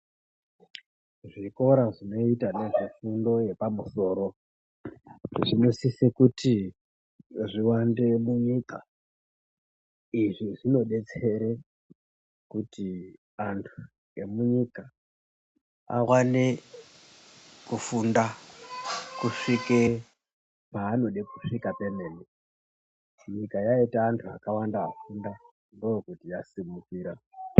Zvikora zvinoita ngezvefundo yepamusoro zvinosise kuti zviwande munyika. Izvi zvinodetsere kuti antu emunyika wane kufunda kusvike paanode kusvika pemene. Nyika yaita antu akawanda afunda ndookuti yasimukira.